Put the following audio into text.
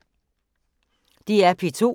DR P2